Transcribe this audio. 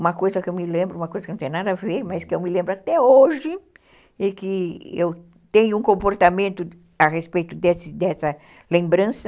Uma coisa que eu me lembro, uma coisa que não tem nada a ver, mas que eu me lembro até hoje, e que eu tenho um comportamento a respeito dessa lembrança,